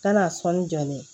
Kana sɔni jɔ dɛ